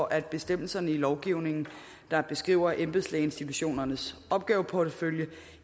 at bestemmelserne i lovgivningen der beskriver embedslægeinstitutionernes opgaveportefølje